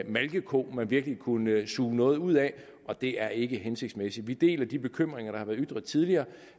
malkeko man virkelig kunne suge noget ud af og det er ikke hensigtsmæssigt vi deler de bekymringer der har været ytret tidligere